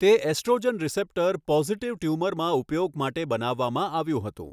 તે oestrogen receptor positive ટ્યુમરમાં ઉપયોગ માટે બનાવવામાં આવ્યું હતું.